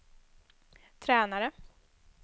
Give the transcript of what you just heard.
tränare